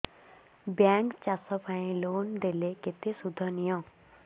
bank ଚାଷ ପାଇଁ loan ଦେଲେ କେତେ ସୁଧ ନିଏ